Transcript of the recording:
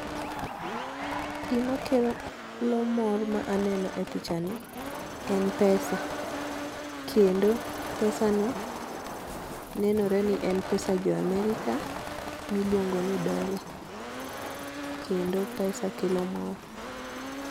Gima kelo mor ma aneno e pichani en pesa kendo pesano nenore ni en pesa jo America miluongo ni dollar kendo pesa kelo mor.